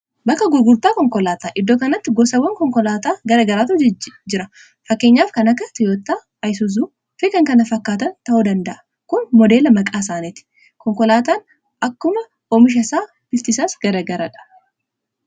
bakka gurgurtaa konkolaataa iddoo kanatti gosawwan konkolaataa garagaraatu jira fakkeenyaaf kan akka tiyoottaa, ayisuzuu fikan kana fakkaatan ta'u danda'a kun modeela maqaa isaaniiti konkolaataan akkuma oomisha isaa bifti isaas garagaraadha